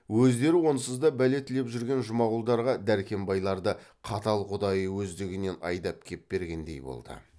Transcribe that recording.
өздері онсыз да бәле тілеп жүрген жұмағұлдарға дәркембайларды қатал құдайы өздігінен айдап кеп бергендей болды